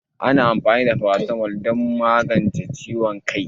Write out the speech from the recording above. Ana amfani da paracetamol don magance ciwon kai